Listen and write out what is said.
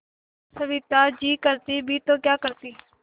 सविता जी करती भी तो क्या करती